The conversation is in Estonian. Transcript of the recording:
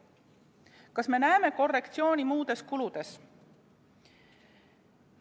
Kas me näeme korrektsiooni muudes kuludes?